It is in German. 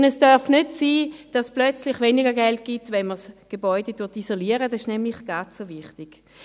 Denn es darf nicht sein, dass es auf einmal weniger Geld gibt, wenn man das Gebäude isoliert, das ist nämlich gerade so wichtig.